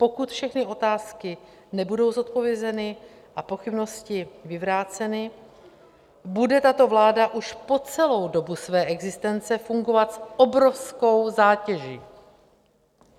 Pokud všechny otázky nebudou zodpovězeny a pochybnosti vyvráceny, bude tato vláda už po celou dobu své existence fungovat s obrovskou zátěží.